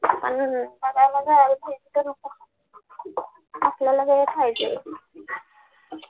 आपल्याला